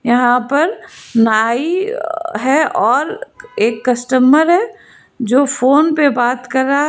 यहां पर नाई है और एक कस्टमर है जो फोन पे बात कर रहा है।